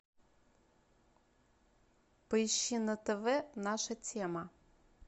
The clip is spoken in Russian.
поищи на тв наша тема